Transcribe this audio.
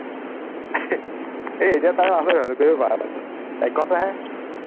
হেই এতিয়াও time আছে দেখোন তুমি কৰিব পাৰা চোন, এঘন্টাহে